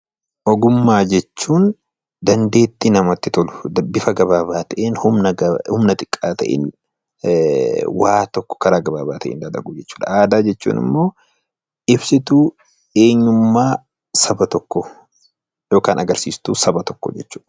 Ogummaa jechuun dandeettii namatti tolu bifa gabaabaa ta'een humna xiqqaa ta'een waan tokko karaa gabaabaa ta'een dalaguu jechuu dha. Aadaa jechuun immoo ibsituu eenyummaa saba tokkoo (agarsiistuu saba tokkoo) jechuu dha.